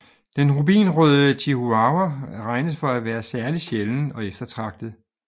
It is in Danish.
Den rubinrøde chihuahua regnes for at være særligt sjælden og eftertragtet